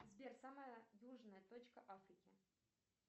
сбер самая южная точка африки